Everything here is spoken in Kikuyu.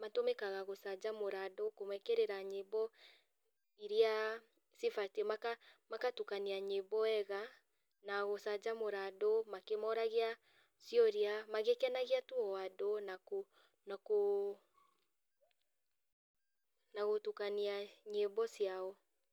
matũmĩkaga gũcanjamũra andũ kũmekĩrĩra nyĩmbo iria cibatiĩ maka makatukania nyĩmbo wega, na gũcanjamũra andũ, makĩmoragia ciũria magĩkenagia tu o andũ nakũ nakũ ,nagũtukania nyĩmbo ciao.